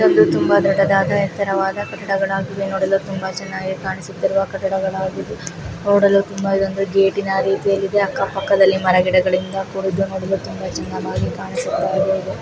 ಇದೊಂದು ತುಂಬಾ ದೊಡ್ಡದಾದ ಯೇತರವಾದ ಕಟ್ಟಡ ವಾಗಿದೆ ನೋಡಲು ತುಂಬಾ ಚೆನ್ನಾಗಿ ಕಾಣಿಸುತ್ತಿರುವ ಕಟ್ಟಡಗಳಾಗಿವೆ ನೋಡಲು ತುಂಬಾ ಗೇಟಿನ ರೀತಿಯಲ್ಲಿದೆ ಪಕ್ಕ ಪಕ್ಕ ಮರಗಳ ರೀತಿಯಲ್ಲಿ ನೋಡಲು ತುಂಬಾ ಚಂದಮಾಗಿ ಕಂಸಿಸುತ್ತಿದೆ .